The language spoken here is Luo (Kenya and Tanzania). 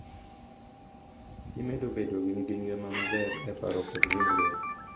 Gimedo bedo gi ngima maber e paro kod e ringruok.